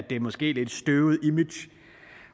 det måske lidt støvede image